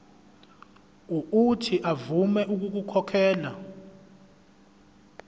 uuthi avume ukukhokhela